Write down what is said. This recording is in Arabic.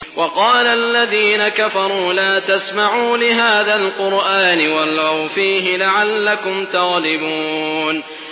وَقَالَ الَّذِينَ كَفَرُوا لَا تَسْمَعُوا لِهَٰذَا الْقُرْآنِ وَالْغَوْا فِيهِ لَعَلَّكُمْ تَغْلِبُونَ